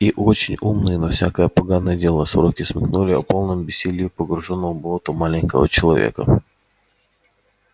и очень умные на всякое поганое дело сороки смекнули о полном бессилии погруженного в болото маленького человечка